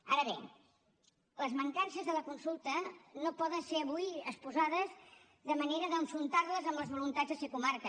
ara bé les mancances de la consulta no poden ser avui exposades de manera d’enfrontar les amb les voluntats de ser comarca